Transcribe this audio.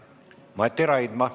Mati Raidma.